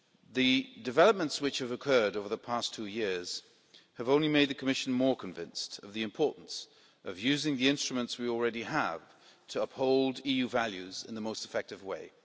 The developments which have occurred over the past two years have only made the Commission more convinced of the importance of using the instruments we already have to uphold EU values in the most effective way.